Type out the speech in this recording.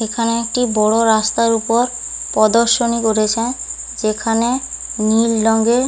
এখানে একটি বড় রাস্তার উ পদর্শনী করেছে। যেখানে নীল রঙের--